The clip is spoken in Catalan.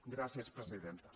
gràcies presidenta